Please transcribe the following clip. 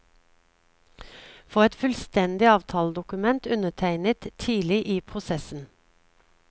Få et fullstendig avtaledokument undertegnet tidlig i prosessen.